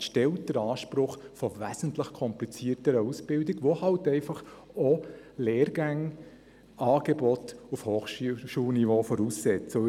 Die Wirtschaft stellt den Anspruch von wesentlich komplizierteren Ausbildungen, was Lehrgänge und ein Angebot auf Hochschulniveau voraussetzt.